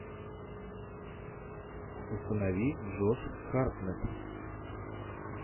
установи джош хартнетт